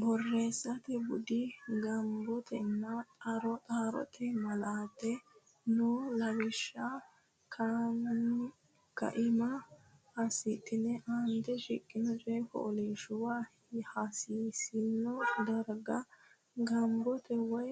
Borreessate Bude Gombotenna Xarote Malaate noo lawishsha kaima assidhine aante shiqqino coy fooliishshuwa hasiisanno darga gombote woy